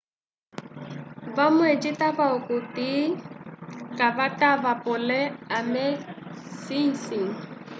vamwe citava okuti kavatava pole ame sicĩ